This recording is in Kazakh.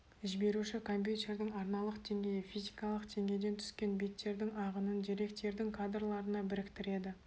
жіберуші компьютердің арналық деңгейі физикалық деңгейден түскен биттердің ағынын деректердің кадрларына біріктіреді